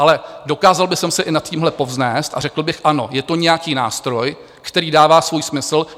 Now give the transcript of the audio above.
Ale dokázal bych se i nad tímhle povznést a řekl bych ano, je to nějaký nástroj, který dává svůj smysl.